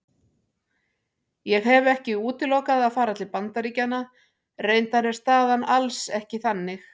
Ég hef ekki útilokað að fara til Bandaríkjanna, reyndar er staðan alls ekki þannig.